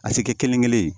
A ti kɛ kelen kelen ye